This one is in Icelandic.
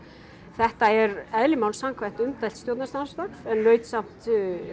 þetta er eðli máls samkvæmt umdeilt stjórnarsamstarf en naut samt